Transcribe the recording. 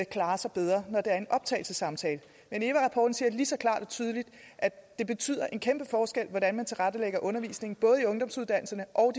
klarer sig bedre når der er en optagelsessamtale men eva rapporten siger lige så klart og tydeligt at det betyder en kæmpe forskel hvordan man tilrettelægger undervisningen både i ungdomsuddannelserne og